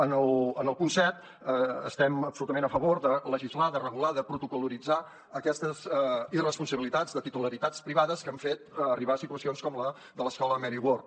en el punt set estem absolutament a favor de legislar de regular de protocol·litzar aquestes irresponsabilitats de titularitats privades que han fet arribar a situacions com la de l’escola mary ward